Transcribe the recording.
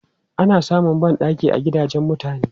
Ana samun ban ɗaki a gidajen mutane.